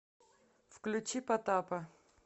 включи потапа